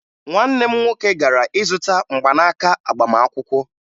Nwanne m nwoke gara ịzụta mgbanaaka agbamakwụkwọ